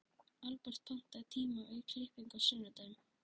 Albert, pantaðu tíma í klippingu á sunnudaginn.